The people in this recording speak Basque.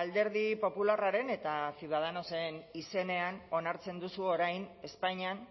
alderdi popularraren eta ciudadanosen izenean onartzen duzu orain espainian